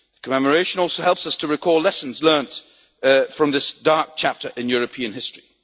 Commemoration also helps us to recall lessons learnt from this dark chapter in European history.